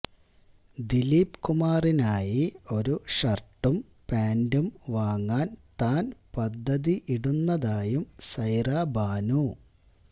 ദിലീപ് കുമാറിനായി ഒരു ഷര്ട്ടും പാന്റും വാങ്ങാന് താന് പദ്ധതി ഇടുന്നതായും സൈറ ബാനു